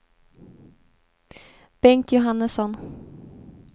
Bengt Johannesson